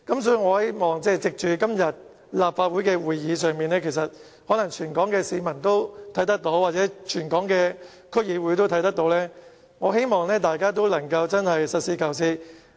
所以，藉着今天的立法會會議，如果全港市民和區議會均有收看的話，我希望大家都能夠實事求是。